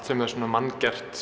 sem er manngert